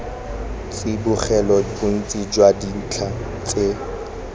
tsibogela bontsi jwa dintlha tse